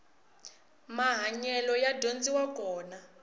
mahanyelo ya dyondziwa kona